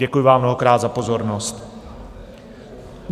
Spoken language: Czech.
Děkuji vám mnohokrát za pozornost.